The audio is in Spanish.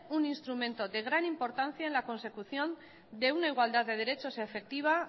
un instrumento de gran importancia en la consecución de una igualdad de derechos efectiva